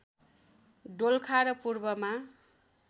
दोलखा र पूर्वमा